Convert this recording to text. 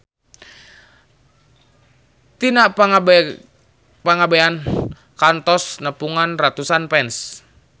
Tika Pangabean kantos nepungan ratusan fans